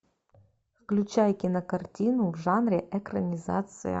включай кинокартину в жанре экранизация